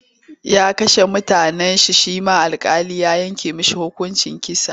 Ya kashe mutane shi ma alƙali ya yanke masa hukuncin kisa.